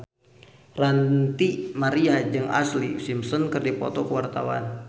Ranty Maria jeung Ashlee Simpson keur dipoto ku wartawan